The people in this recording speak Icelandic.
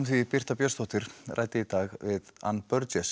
því Birta Björnsdóttir ræddi í dag við ann